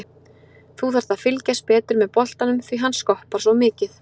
Þú þarft að fylgjast betur með boltanum því hann skoppar svo mikið.